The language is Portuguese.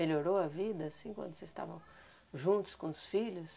Melhorou a vida, assim, quando vocês estavam juntos com os filhos?